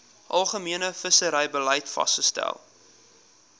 algemene visserybeleid vasgestel